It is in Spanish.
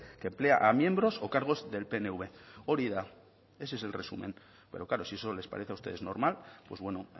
que emplea a miembros o cargos del pnv hori da ese es el resumen pero claro si eso les parece a ustedes normal pues bueno